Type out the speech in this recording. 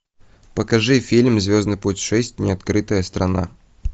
покажи фильм звездный путь шесть неоткрытая страна